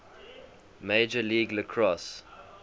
major league lacrosse